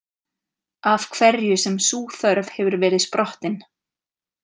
Af hverju sem sú þörf hefur verið sprottin.